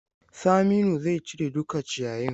Saminu zai cire duka ciyayin.